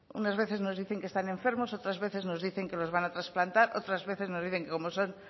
unas veces nos dicen que están enfermos otras veces nos dicen que los van a trasplantar otras veces nos dicen que como son